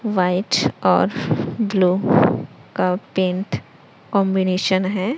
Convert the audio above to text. White और blue का pant combination हैं।